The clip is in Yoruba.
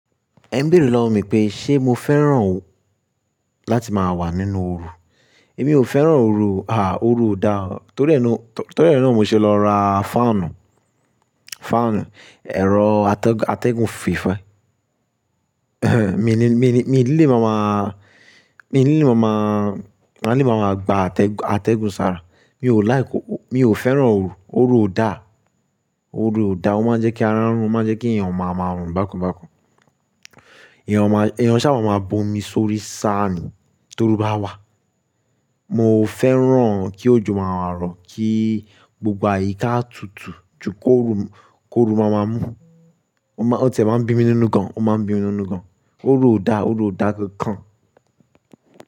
Ẹ ń béèrè lọ́wọ́ mi pé ṣe mo fẹ́ràn láti máa wà nínú oru? Èmi ò fẹ́ràn oru, ah! Oru ò dáa. Torí ẹ nan ni mo ṣe lọ ra fáànù, fáànù, ẹ̀rọ atẹgun, atẹgun fífẹ̀. Mi ni, mi ni, mi ní lè máa máa, mi ní lè máa máa, ma lè máa máa gba atẹgun, atẹgun sára. Mi ò like, mi ò fẹ́ràn oru, oru ò dáa, oru ò dáa. Ó máa ń jẹ́ kí ara run, ó máa ń jẹ́ kí èèyàn máa máa rùn bákan bákan. Ẹ̀yàn máa, ẹ̀yàn ṣáà máa maa bó mi sórí sàánì toru bá wà. Mo fẹ́ràn kí òjò máa rọ̀, kí gbogbo àyíká tutù, ju kí òru, kí òru máa máa mú. Ó ti e máa ń bí mi nínú gan, ó máa ń bí mi nínú gan. Oru ò dáa, oru ò dára kan kan.